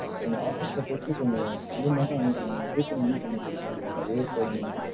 உங்க office ல பேசி கொஞ்சம் கம்மி மட்டும் வாங்கி கொடுங்க, refund கூட பண்ணி குடுங்க. அதுவே போதும்.